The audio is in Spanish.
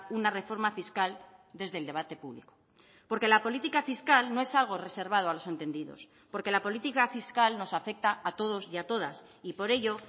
una reforma fiscal desde el debate público porque la política fiscal no es algo reservado a los entendidos porque la política fiscal nos afecta a todos y a todas y por ello